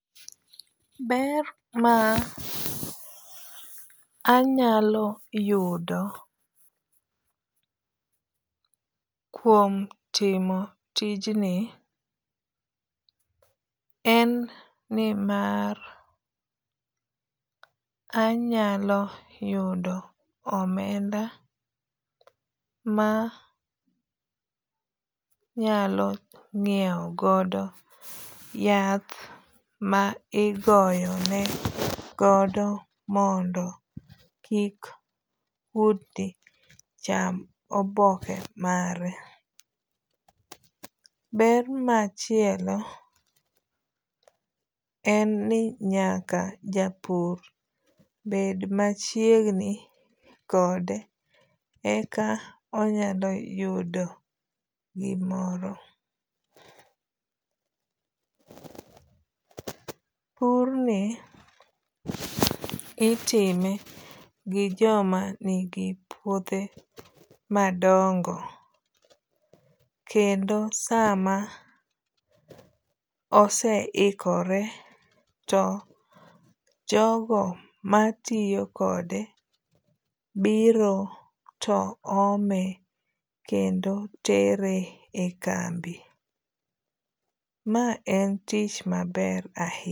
Ber ma anyalo yudo kuom timo tijni en nimar anyalo yudo omenda ma nyalo ng'iew godo yath ma igoyo ne godo mondo kik kudni cham oboke mare. Ber machielo en ni nyaka japur bed machiegni kode eka onyalo yudo gimoro. Pur ni itime gi joma nigi puothe madongo. Kendo sama oseikore to jogo matiyo kode biro to ome kendo tere e kambi. Ma en tich maber ahinya.